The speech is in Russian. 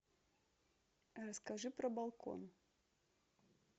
расскажи про балкон